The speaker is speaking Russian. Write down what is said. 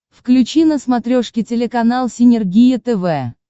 включи на смотрешке телеканал синергия тв